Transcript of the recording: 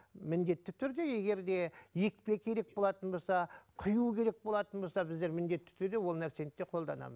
міндетті түрде егер де екпе керек болатын болса құю керек болатын болса біздер міндетті түрде ол нәрсені де қолданамын